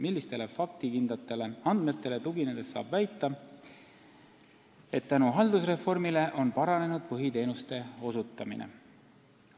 Millistele faktikindlatele andmetele tuginedes saate väita, et tänu haldusreformile on paranenud põhiteenuste osutamine?